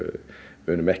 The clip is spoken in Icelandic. við munum ekki